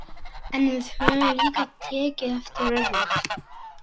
En við höfum líka tekið eftir öðru.